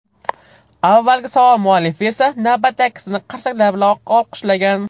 Avvalgi savol muallifi esa, navbatdagisini qarsaklar bilan olqishlagan.